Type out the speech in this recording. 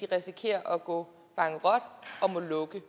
risikerer at gå bankerot og må lukke